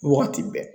Wagati bɛɛ